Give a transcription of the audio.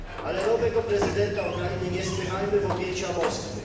Ale nowego prezydenta Ukrainy nie spychajmy w objęcia Moskwy.